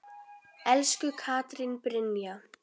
Elsku Katrín Brynja.